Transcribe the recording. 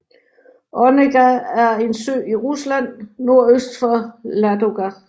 Onega er en sø i Rusland nordøst for Ladoga